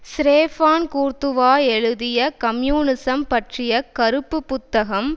Stephane Courtois எழுதிய communism பற்றிய கறுப்பு புத்தகம்